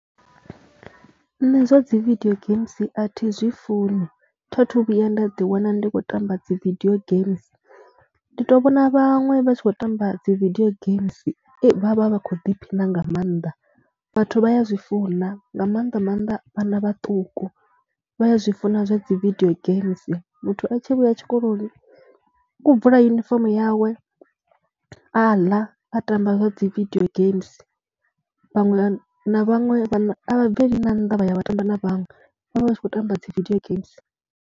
Nṋe zwa dzi vidio games a thi zwi funi, tha thu vhuya nda ḓiwana ndi khou tamba dzi vidio games. Ndi tou vhona vhaṅwe vha tshi khou tamba dzi vidio games vha vha vha khou ḓiphina nga maanḓa. Vhathu vha ya zwi funa, nga maanḓa maanḓa vhana vhaṱuku, vha ya zwi funa zwa dzi vidio games, muthu a tshi vhuya tshikoloni u khou bvula yunifomo yawe a ḽa, a tamba zwa dzi vidio games. Vhaṅwe na vhaṅwe vhana a vha bveli na nnḓa vha ya vha tamba na vhaṅwe, vha vha vha tshi khou tamba dzi vidio games.